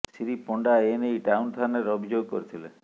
ଶ୍ରୀ ପଣ୍ଡା ଏ ନେଇ ଟାଉନ ଥାନାରେ ଅଭିଯୋଗ କରିଥିଲେ